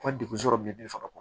Ka degun sɔrɔ bi faga